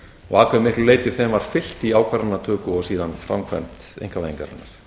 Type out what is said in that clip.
og að hve miklu leyti þeim var fylgt í ákvarðanatöku og síðan framkvæmd einkavæðingarinnar